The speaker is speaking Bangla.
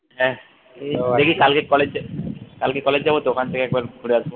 হ্যা দেখি কালকে college কালকে college যাবো তো ওখান থেকে একবার ঘুরে আসবো